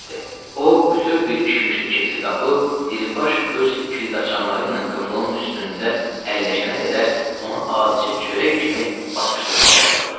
O bütöv bir kişmişli keksi qapıb, Diribaş öz kildaçanları ilə qıfılın üstündə əlləşənə qədər onu adicə çörək kimi basışdırmağa başladı.